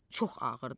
Çox ağırdır.